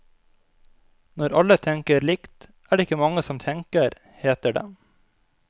Når alle tenker likt, er det ikke mange som tenker, heter det.